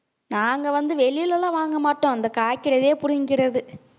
நாங்க வந்து, வெளியில எல்லாம் வாங்க மாட்டோம் இந்த காய்க்கிறதே புடிங்கிக்கிறது